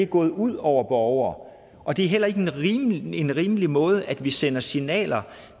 gået ud over borgere og det er heller ikke en rimelig en rimelig måde vi sender signaler